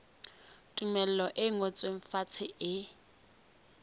tumello e ngotsweng fatshe e